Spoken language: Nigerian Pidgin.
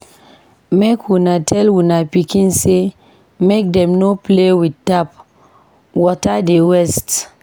Make una tell una pikin sey make dem no play with tap, water dey waste.